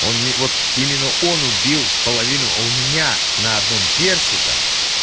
он мне вот именно он убил половину у меня на одном перси там